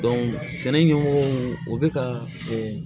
sɛnɛ ɲɛmɔgɔ u bɛ ka o